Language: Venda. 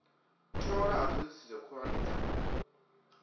tholwa ha thodisiso khuhulwane dza